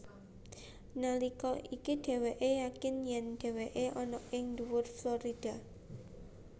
Nalika iku dhéwékè yakin yèn dhéwékè ana ing dhuwur Florida